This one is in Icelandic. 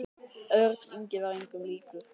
Örn Ingi var engum líkur.